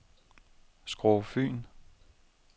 Skårup Fyn